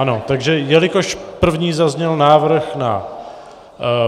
Ano, takže jelikož první zazněl návrh na